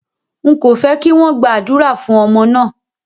Ń kò fẹ́ kí wọn gba àdúrà fún ọmọ náà